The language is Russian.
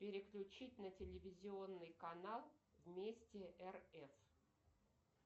переключить на телевизионный канал вместе рф